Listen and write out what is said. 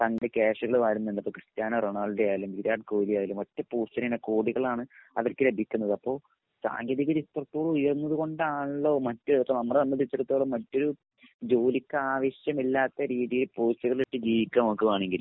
സന്ധി കാശുകൾ വാരുന്നുണ്ട്. ഇപ്പൊ ക്രിസ്റ്റാനോ റൊണാൾഡോ ആയാലും വിരാട്ട് കോഹിലി ആയാലും ഒറ്റ പോസ്റ്റിന് തന്നെ കോടികളാണ് അവർക്ക് ലഭിക്കുന്നത്. അപ്പോ സാങ്കേതികത എത്രത്തോളം ഉയർന്നത് കൊണ്ടാണല്ലോ മറ്റു ഇപ്പൊ നമ്മള് നമ്മളെ സംബന്ധിച്ചിടത്തോളം മറ്റൊരു ജോലിക്കാവശ്യമില്ലാത്ത രീതിയെ പോസ്റ്റുകളിട്ട് ജീവിക്കാ നമ്മക്ക് വാണെങ്കില്.